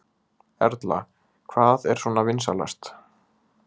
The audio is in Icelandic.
Erla: Hvað er svona vinsælast?